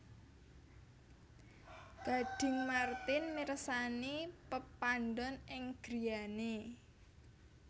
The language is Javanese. Gading Marten mirsani pepadon ing griyane